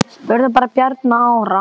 Spurðu bara Bjarna Ara!